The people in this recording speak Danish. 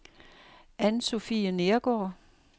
Ann-Sofie Neergaard